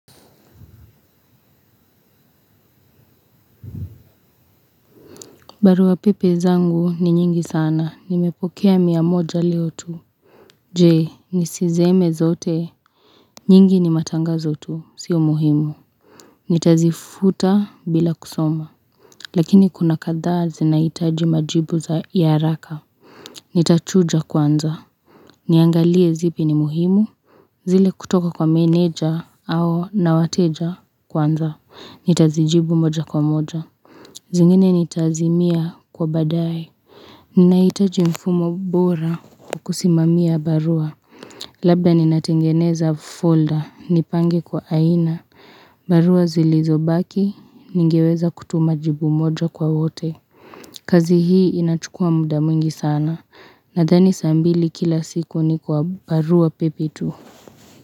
Barua pepe zangu ni nyingi sana, nimepokea mia moja leo tu. Jee, niziseme zote. Nyingi ni matangazo tu, sio muhimu. Nitazifuta bila kusoma. Lakini kuna kadhaa zinahitaji majibu za haraka. Nitachuja kwanza. Niangalie zipi ni muhimu. Zile kutoka kwa meneja au na wateja kwanza. Nitazijibu moja kwa moja. Zingine nitazimia kwa baadaye. Ninahitaji mfumo bora kukusimamia barua. Labda ninatengeneza folder. Nipange kwa aina. Barua zilizobaki. Ningeweza kutuma jibu moja kwa wote. Kazi hii inachukua muda mwingi sana. Nadhani saa mbili kila siku ni kwa barua pepe tu.